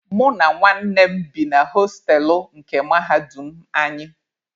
Mụ na nwanne m bi na hostelụ nke mahadum anyị.